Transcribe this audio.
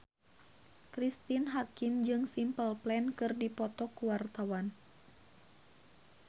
Cristine Hakim jeung Simple Plan keur dipoto ku wartawan